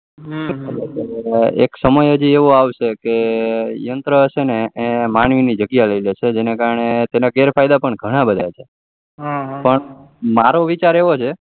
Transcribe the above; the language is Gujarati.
એક સમય એવો આવસે કે છે યંત્ર છે એ માનવી ની જગ્યા લઇ લે છે તે થી તેના કારણે તેના ગેર ફાયદા પણ ઘણા બધા છે પણ મારો વિચાર એવો છે કે